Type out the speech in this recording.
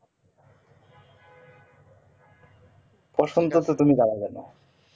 বসন্তে তুমি